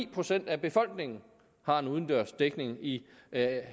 procent af befolkningen har en udendørs dækning i